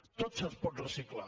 tot es pot reciclar